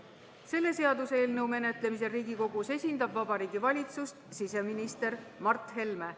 Selle seaduseelnõu menetlemisel Riigikogus esindab Vabariigi Valitsust siseminister Mart Helme.